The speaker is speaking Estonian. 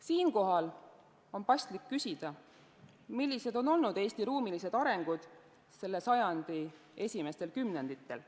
Siinkohal on paslik küsida, millised on olnud Eesti ruumilised arengud selle sajandi esimestel kümnenditel.